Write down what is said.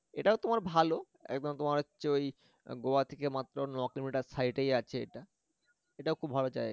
এটাও তোমার ভালো একদম তোমার হচ্ছে ঐ গোয়া থেকে মাত্র ন kilometer side এ আছে এটা এটাও খুব ভালো জায়গা